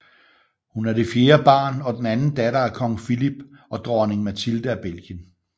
Hun er det fjerde barn og den anden datter af Kong Philippe og Dronning Mathilde af Belgien